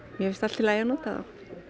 mér finnst allt í lagi að nota þá